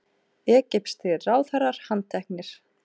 Egypskir ráðherrar handteknir